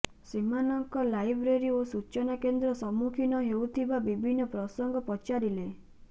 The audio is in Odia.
ସେମାନଙ୍କ ଲାଇବ୍ରେରୀ ଓ ସୂଚନା କେନ୍ଦ୍ର ସମ୍ମୁଖୀନ ହେଉଥିବା ବିଭିନ୍ନ ପ୍ରସଙ୍ଗ ପଚାରିଲେ